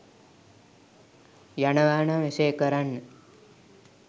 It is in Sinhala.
යනවා නම් එසේ කරන්න.